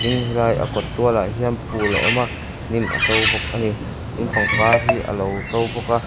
in helai a kawt tualah hian phul a awm a hnim a to bawk a ni tin pangpang hi a lo to bawk a.